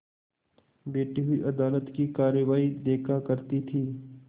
बैठी हुई अदालत की कारवाई देखा करती थी